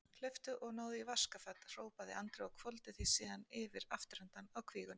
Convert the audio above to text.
Hlauptu og náðu í vaskafat, hrópaði Andri og hvolfdi því síðan yfir afturendann á kvígunni.